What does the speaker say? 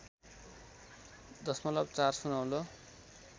दशमलव ४ सुनौलो